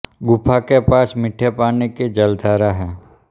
गुफा के पास मीठे पानी की जलधारा है